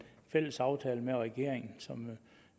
fælles aftale med regeringen som